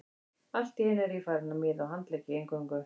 Allt í einu er ég farinn að miða á handleggi eingöngu.